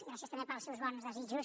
gràcies també pels seus bons desitjos